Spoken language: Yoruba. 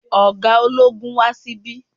Ọ̀gá ológun wá sí bí